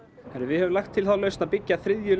við höfum lagt til þá lausn að byggja þriðju